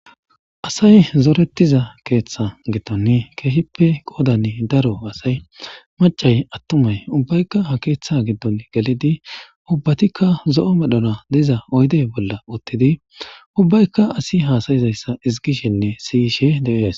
asay zoretiza keeththa giddon keehippe qoodan daro asay macay attumay ubbaykka ha keeththa giddon gelidi ubbatikka zo7o medhona diza oyde bolla uttidi ubbaykka asi haasayizayssa ezigishenne siyishe dees